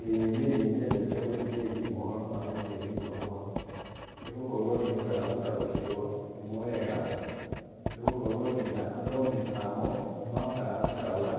ĩĩ niĩ nĩ nyendete gũthikĩrĩria mohoro ma rũthiomi rwakwa nĩ gũkorwo nĩ hotaga gũtaũkĩrwo nĩmo wega, nĩ gũkorwo nginya athomi amo nĩ mahotaga gũtaũra